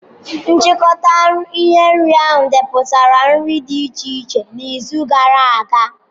Nchịkọta ihe nri ahụ depụtara nri dị iche iche n'izu gara aga.